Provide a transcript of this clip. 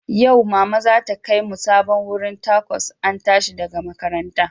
Yau, Mama za ta kai mu sabon wurin Tacos an tashi daga makaranta